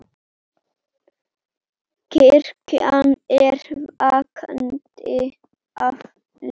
Kirkjan er vakandi afl.